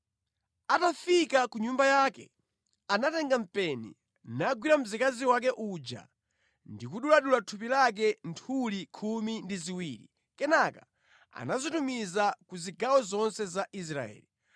Atafika ku nyumba yake, anatenga mpeni, nagwira mzikazi wake uja ndi kuduladula thupi lake nthuli khumi ndi ziwiri. Kenaka anazitumiza ku zigawo zonse za Israeli.